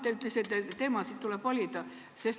Te ütlesite, et teemasid tuleb valida.